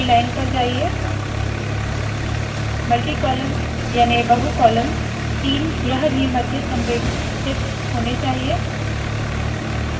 अगली लाइन पर जाइए मल्टीकॉलम याने बहुकॉलम तीन यह भी मध्य संरेखित होने चाहिए